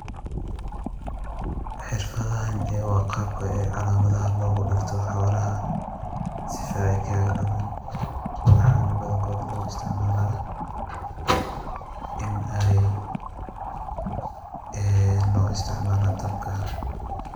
Xeerfathan ee wa Qabka calamatha lagu deegtoh, hoolaha sifa Aya kaga dumin, waxan bathankoot lagu isticmalah, Inaat loo isticmaloh.